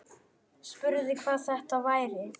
Spurði hvað þetta væri.